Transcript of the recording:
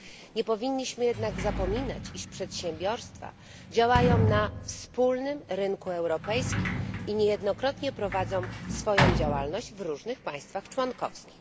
Nie powinniśmy jednak zapominać, iż przedsiębiorstwa działają na wspólnym rynku europejskim i niejednokrotnie prowadzą swoją działalność w różnych państwach członkowskich.